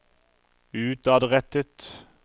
utadrettet